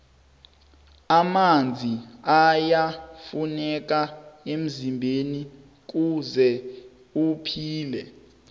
amanzi ayafuneka emzimbeni kuze uphile